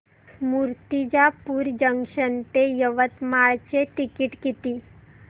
Murtijapur junction ते यवतमाळ चे ticket किती